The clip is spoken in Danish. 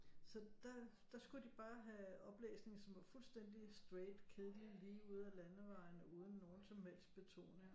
Så der der skulle de bare have oplæsning som var fuldstændig straight kedelig lige ud af landevejen uden nogen som helst betoning